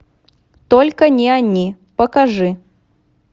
только не они покажи